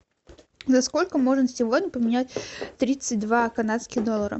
за сколько можно сегодня поменять тридцать два канадских доллара